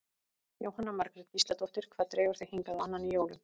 Jóhanna Margrét Gísladóttir: Hvað dregur þig hingað á annan í jólum?